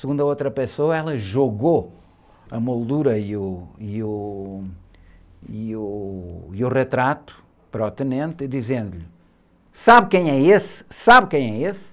Segundo a outra pessoa, ela jogou a moldura e o, e o, e o, e o retrato para o tenente, dizendo-lhe, sabe quem é esse? Sabe quem é esse?